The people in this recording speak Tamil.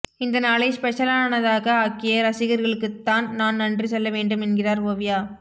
இந்த நாளை ஸ்பெஷலானதாக ஆக்கிய ரசிகர்களுக்கு தான் நான் நன்றி சொல்ல வேண்டும் என்கிறார் ஓவியா